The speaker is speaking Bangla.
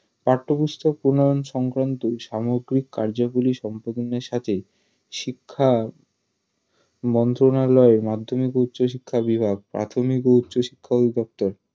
পাঠ্যপুস্তক প্রণয়ন সংক্রান্ত সামগ্রিক কার্যাবলী সম্পাদনের সাথে শিক্ষা মন্ত্রণালয় মাধ্যমিক ও উচ্চ শিক্ষা বিভাগ মাধ্যমিক ও উচ্চশিক্ষা অধিদপ্তর